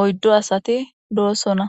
oyddo asati doosona